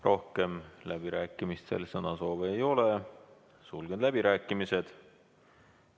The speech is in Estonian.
Rohkem läbirääkimistel sõnasoove ei ole, sulgen läbirääkimised.